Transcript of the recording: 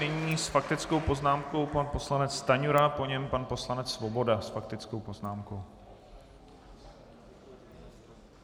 Nyní s faktickou poznámkou pan poslanec Stanjura, po něm pan poslanec Svoboda s faktickou poznámkou.